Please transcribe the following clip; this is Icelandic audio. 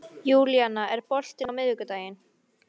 Júlíana, er bolti á miðvikudaginn?